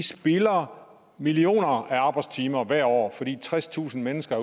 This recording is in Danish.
spilder millioner af arbejdstimer hvert år fordi tredstusind mennesker